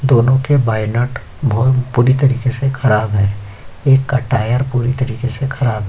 दोनों के बाये नट बोहोत बुरी तरीके से ख़राब हैं एक का टायर पूरी तरीके से ख़राब --